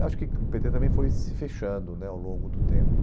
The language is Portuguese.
Acho que o pê tê também foi se fechando né ao longo do tempo.